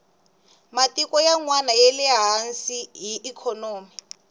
matiko yanwani yale hansi hi ikhonomi